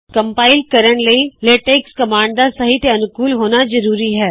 compile ਕਰਣ ਲਈ LaTeX command ਦਾ ਸਹੀ ਤੇ ਅਨੁਕੂਲ ਹੋਣਾ ਜ਼ਰੂਰੀ ਹੈ